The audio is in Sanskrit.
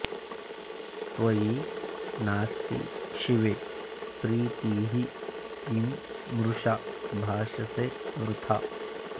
त्वयि नास्ति शिवे प्रीतिः किं मृषा भाषसे वृथा